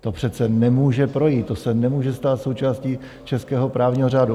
To přece nemůže projít, to se nemůže stát součástí českého právního řádu.